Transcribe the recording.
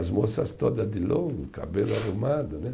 As moças todas de longo, cabelo arrumado, né?